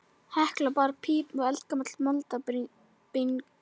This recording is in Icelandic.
Hekla er bara píp og eldgamall moldarbingur.